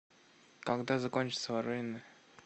когда закончатся воронины